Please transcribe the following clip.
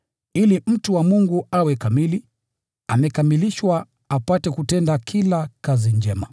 ili mtu wa Mungu awe amekamilishwa, apate kutenda kila kazi njema.